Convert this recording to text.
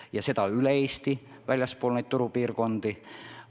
Ja nii on üle Eesti kõikjal väljaspool neid turupiirkondi.